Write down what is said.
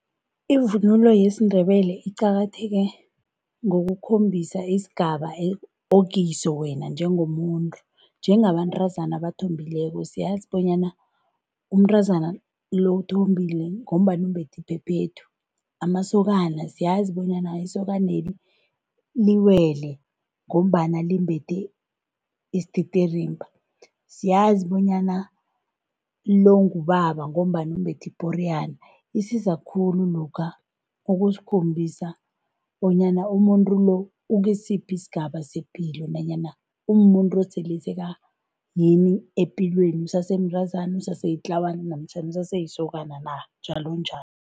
Ivunulo yesiNdebele iqakatheke ngokukhombisa isigaba okiso wena njengomuntu. Njengabantazana abathombileko bonyana siyazi bona umntazana lo uthombile ngombana umbethi iphephethu. Amasokana siyazi bonyana isokaneli liwele ngombana limbethe isititirimba. Siyazi bonyana lo ngubaba ngombana umbethe iporiyana. Isiza khulu lokha ukusikhombisa bonyana umuntu lo ukisiphi isigaba sepilo nanyana umuntu osele sekayini epilweni usesemntazana, useselitlawana namtjhana useselisokana na njalonjalo.